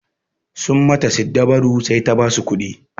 Sun mata siddabaru sai ta basu kuɗi.